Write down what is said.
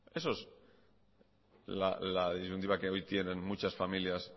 esa es la disyuntiva que hoy tienen muchas familias